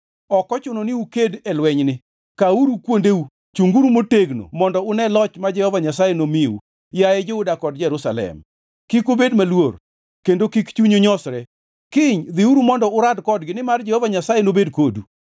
Ok ochuno ni uked e lwenyni. Kawuru kuondeu, chunguru motegno mondo une loch ma Jehova Nyasaye nomiu, yaye Juda kod Jerusalem. Kik ubed maluor, kendo kik chunyu nyosre. Kiny dhiuru mondo urad kodgi nimar Jehova Nyasaye nobed kodu.’ ”